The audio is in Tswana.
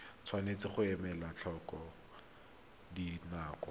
tshwanetse ga elwa tlhoko dinako